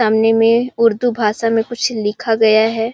सामने में उर्दू भाषा में कुछ लिखा गया है।